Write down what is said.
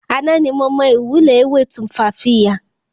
Àná ni mo mọ ìwúlò ewé Tumfafiya